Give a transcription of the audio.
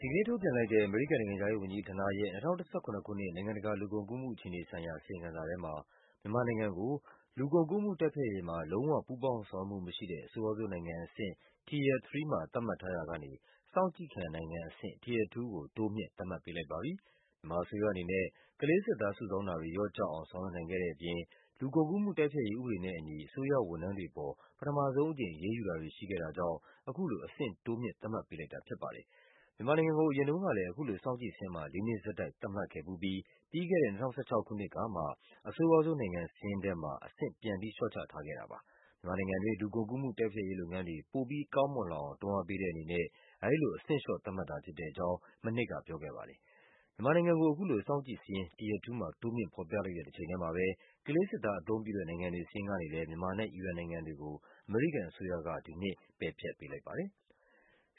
ဒီကနေ့ ထုတ်ပြန်လိုက်တဲ့ အမေရိကန်နိုင်ငံခြားရေးဝန်ကြီးဌာနရဲ့ ၂၀၁၇ ခုနှစ် နိုင်ငံတကာ လူကုန်ကူးမှုဆိုင်ရာ အစီရင်ခံစာမှာ မြန်မာနိုင်ငံကို အရင်က လူကုန်ကူးမှု တိုက်ဖျက်ရေးမှာ လုံး၀ ပူးပေါင်း ဆောင်ရွက်မှု မရှိတဲ့ အဆိုးရွားဆုံးနိုင်ငံအဆင့် Tier 3 ကနေ စောင့်ကြည့်ခံနိုင်ငံ အဆင့် Tier 2 ကို တိုးမြင့်သတ်မှတ်ပေး လိုက်ပါတယ်။ မြန်မာအစိုးရအနေနဲ့ ကလေးစစ်သား စုဆောင်းမှုတွေ လျော့ကျအောင် ဆောင်ရွက်နိုင်ခဲ့တဲ့ အပြင် လူကုန်ကူးမှုတိုက်ဖျက်ရေး ဥပဒေနဲ့အညီ အစိုးရ ဝန်ထမ်းတွေ အပေါ် ပထမဆုံးအကြိမ် အရေးယူတာတွေ ရှိခဲ့တာကြောင့် စောင့်ကြည့်စာရင်းထဲမှာ တိုးမြင့် သတ်မှတ်ပေးလိုက်တာဖြစ်ပါတယ်။ အရင်က မြန်မာနိုင်ငံကို အခုလို စောင့်ကြည့်စာရင်းမှာ လေးနှစ်ဆက်တိုက် သတ်မှတ်ခဲ့ပြီးတဲ့နောက် ပြီးခဲ့တဲ့ ၂၀၁၆ ခုနှစ်အတွင်းမှာတော့ အဆိုးရွားဆုံးနိုင်ငံစာရင်းမှာ ပြန်ပြီး လျှော့ချထားခဲ့တာပါ။ မြန်မာနိုင်ငံတွင်း လူကုန်ကူးမှု တိုက်ဖျက်ရေးလုပ်ငန်းတွေ ပိုမို ကောင်းမွန်လာအောင် တွန်းအားပေးတဲ့အနေနဲ့ အဲဒီလိုသတ်မှတ်တဲ့အကြောင်း ဖော်ပြခဲ့တာပါ။ မြန်မာနိုင်ငံကို အခုလို စောင့်ကြည့်စရင်း Tier 2 မှာ တိုးမြင့်ဖော်ပြလိုက်တဲ့တချိန်တည်းမှာပဲ ကလေးစစ်သားအသုံးပြုတဲ့ နိုင်ငံများစာရင်းကနေလည်း မြန်မာနဲ့ အီရန်နိုင်ငံတွေကို အမေရိကန်အစိုးရက ဒီနှစ် ပယ်ဖျက်ပေးလိုက်ပါတယ်။